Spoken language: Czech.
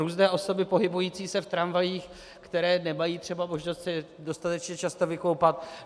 Různé osoby pohybující se v tramvajích, které nemají třeba možnost se dostatečně často vykoupat.